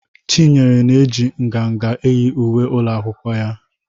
Chinyere na-eji nganga eyi uwe ụlọ akwụkwọ ya na.